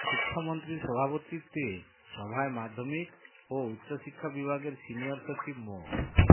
শিক্ষামন্ত্রীর সভাপতিত্বে সভায় মাধ্যমিক ও উচ্চশিক্ষা বিভাগের সিনিয়র সচিব মো